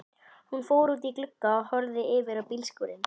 Hún fór út í glugga og horfði yfir á bílskúrinn.